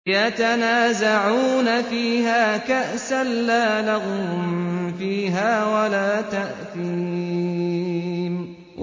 يَتَنَازَعُونَ فِيهَا كَأْسًا لَّا لَغْوٌ فِيهَا وَلَا تَأْثِيمٌ